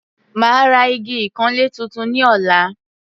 Màá ra igi ìkanlé tuntun ní ọ̀la.